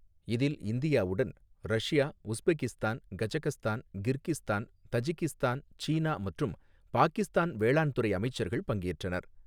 இதில் இந்தியாவுடன், Russia, Uzbekistan, Kazakhstan, Kyrgyzstan, Tajikistan, சீனா மற்றும் பாகிஸ்தான் வேளாண்துறை அமைச்சர்கள் பங்கேற்றனர்.